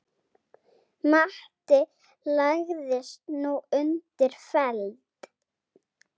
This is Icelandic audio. Matti lagðist nú undir feld.